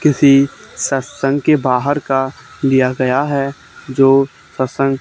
किसी सत्संग के बाहर का लिया गया है जो सत्संग--